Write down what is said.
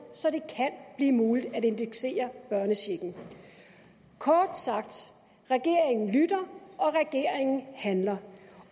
så det kan blive muligt at indeksere børnechecken kort sagt regeringen lytter og regeringen handler